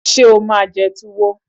Ṣé o máa jẹ Tuwo?